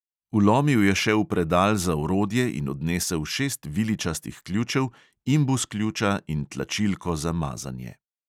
Vlomil je še v predal za orodje in odnesel šest viličastih ključev, imbus ključa in tlačilko za mazanje.